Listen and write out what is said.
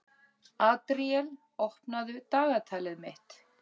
Adríel, opnaðu dagatalið mitt.